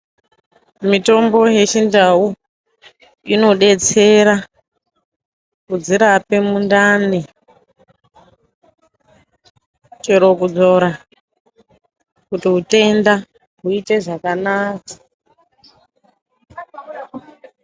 Mitombo yechindau inodetsera kudzirape mundani chero kudzora kuiti mutenda uite zvakanaka.